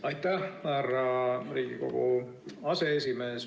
Aitäh, härra Riigikogu aseesimees!